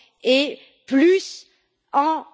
et plus en